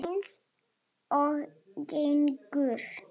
Eins og gengur.